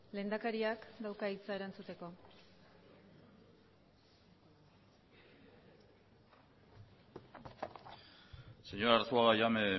lehendakariak dauka hitza erantzuteko señor arzuaga ya me he